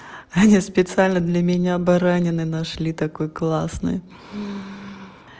аня специально для меня баранины нашли такой классной